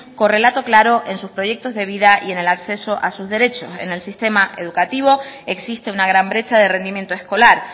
con relato claro en sus proyectos de vida y en el acceso a sus derechos en el sistema educativo existe una gran brecha de rendimiento escolar